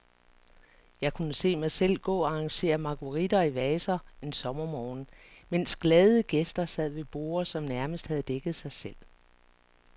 Jeg kunne se mig selv gå og arrangere marguritter i vaser en sommermorgen, mens glade gæster sad ved borde, som nærmest havde dækket sig selv.